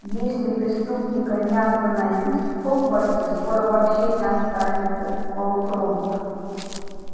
если преступника не остановить в хогвартсе скоро вообще не останется полукровок